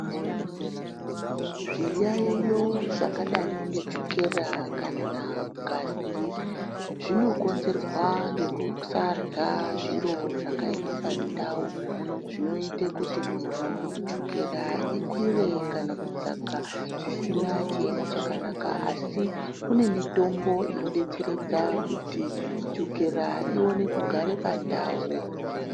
Zviyayiyo zvakadai ngechukera kana ngazi zvinokonzerwa ngekusarya zviro zvakaema pandau zvinoita kuti muntu chukera ikwire kana kudzaka zvisina chiemo chakanaka asi kune mitombo inodetseredza kuti chukera ione kugara pandau .